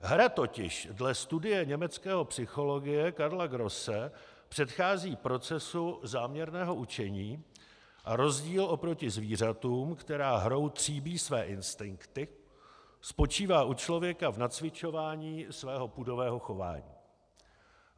Hra totiž dle studie německého psychologa Karla Grosse předchází procesu záměrného učení a rozdíl oproti zvířatům, která hrou tříbí své instinkty, spočívá u člověka v nacvičování svého pudového chování.